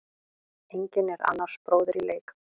Enginn er annars bróðir í leik.